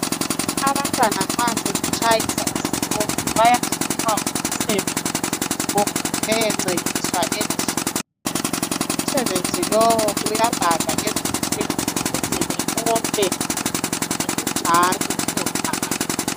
Abantwana nxa sebetshayisa esikolo .Bayanikwa umsebenzi wokuthi beyencediswa endlini .Umsebenzi lowu uyabhalwa emdulini ukuze bekope ngokunjalo beyobhala .